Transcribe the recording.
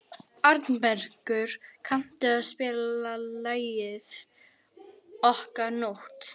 Arnbergur, kanntu að spila lagið „Okkar nótt“?